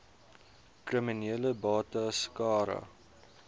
kriminele bates cara